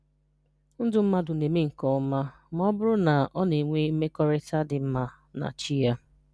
Ndụ mmadụ na-eme nke ọma ma ọ bụrụ na ọ na-enwe mmekọrịta dị mma na Chi ya.